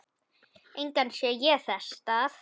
Engan sé ég þess stað.